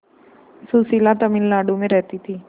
सुशीला तमिलनाडु में रहती है